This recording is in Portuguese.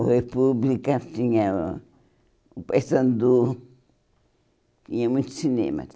O República tinha o o Pai Sandu, tinha muito cinema.